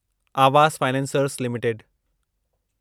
Awas financiers limited